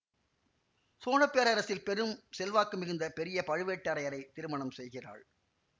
சோழ பேரரசில் பெரும் செல்வாக்கு மிகுந்த பெரிய பழுவேட்டரையரை திருமணம் செய்கிறாள்